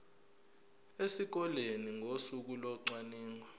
esikoleni ngosuku locwaningo